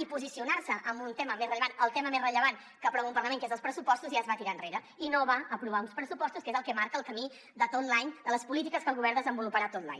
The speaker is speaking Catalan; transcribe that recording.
i posicionar se en un tema més rellevant el tema més rellevant que aprova un parlament que és els pressupostos ja es va tirar enrere i no va aprovar uns pressupostos que és el que marca el camí de tot l’any de les polítiques que el govern desenvoluparà tot l’any